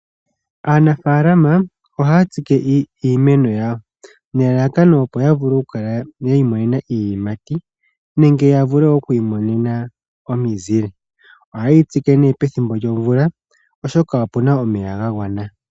Aanafalama oha tsike iimeno yawo nelalakano opo ya vule oku imonena iiyimati nenge ya vule wo oku imonena omizile. Ohayi tsike nee pethimbo lyomvula oshoka opena omeya ga gwana.